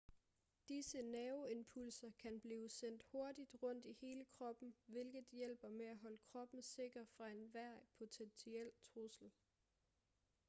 disse nerveimpulser kan blive sendt hurtigt rundt i hele kroppen hvilket hjælper med at holde kroppen sikker fra enhver potentiel trussel